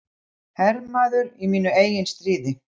Hermaður í mínu eigin stríði.